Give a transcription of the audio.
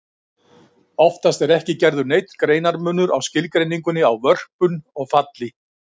Oftast er ekki gerður neinn greinarmunur á skilgreiningunni á vörpun og falli.